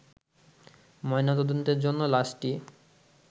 ময়নাতদন্তের জন্য লাশটি